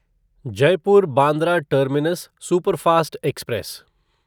Jaipur Bandra terminus superfast express